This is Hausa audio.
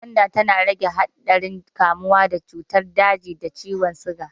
Gwanda tana rage haɗarin kamuwa da cutar daji da ciwon siga.